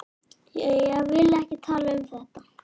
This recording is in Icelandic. Ég vil ekki tala um þetta.